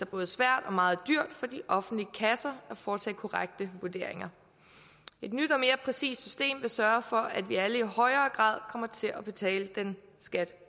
både svært og meget dyrt for de offentlige kasser at foretage korrekte vurderinger et nyt og mere præcist system vil sørge for at vi alle i højere grad kommer til at betale den skat